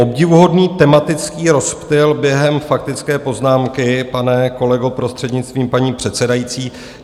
Obdivuhodný tematický rozptyl během faktické poznámky, pane kolego, prostřednictvím paní předsedající.